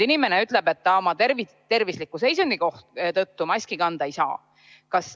Inimene ütleb, et ta oma tervisliku seisundi tõttu maski kanda ei saa.